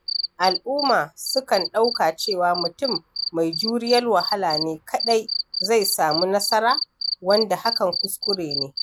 Al’umma sukan ɗauka cewa mutum mai juriyar wahala ne kaɗai zai samu nasara, wanda hakan kuskure ne.